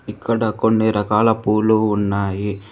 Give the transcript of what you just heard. ఇక్కడ కొన్ని రకాల పూలు ఉన్నాయి.